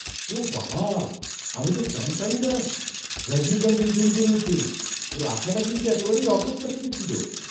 ওঃ বাবা! আমি তো জানতামই না রজনীকান্ত এই ছবিতে রয়েছেন। ওঁর আসাটা কিন্তু একেবারেই অপ্রত্যাশিত ছিল।